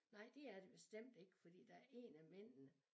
Nej det er det bestemt ikke fordi der én af mændene